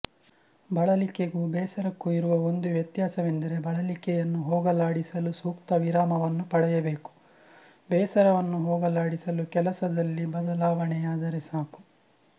ಬಳಲಿಕೆಗೂ ಬೇಸರಕ್ಕೂ ಇರುವ ಒಂದು ವ್ಯತ್ಯಾಸವೆಂದರೆ ಬಳಲಿಕೆಯನ್ನು ಹೋಗಲಾಡಿಸಲು ಸೂಕ್ತ ವಿರಾಮವನ್ನು ಪಡೆಯಬೇಕು ಬೇಸರವನ್ನು ಹೋಗಲಾಡಿಸಲು ಕೆಲಸದಲ್ಲಿ ಬದಲಾವಣೆಯಾದರೆ ಸಾಕು